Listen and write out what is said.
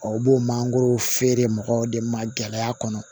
O b'o mangoro feere mɔgɔw de ma gɛlɛya kɔnɔ